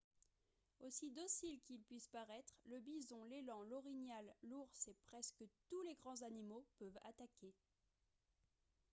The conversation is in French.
aussi dociles qu'ils puissent paraître le bison l'élan l'orignal l'ours et presque tous les grands animaux peuvent attaquer